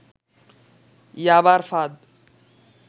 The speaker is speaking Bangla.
ইয়াবার ফাঁদ